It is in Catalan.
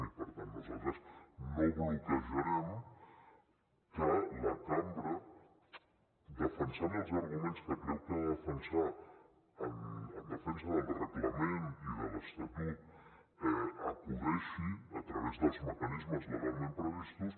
i per tant nosaltres no bloquejarem que la cambra defensant els arguments que creu que ha de defensar en defensa del reglament i de l’estatut acudeixi a través dels mecanismes legalment previstos